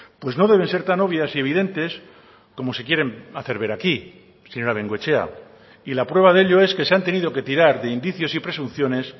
pues no deben ser tan obvias y evidentes como se quieren hacer ver aquí señora bengoechea y la prueba de ello es que se han tenido que tirar de indicios y presunciones